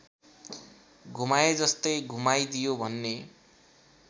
घुमाएजस्तै घुमाइदियो भन्ने